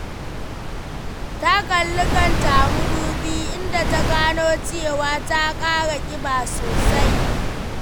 Ta kalli kanta a mudubi, inda ta gano cewa ta ƙara ƙiba sosai.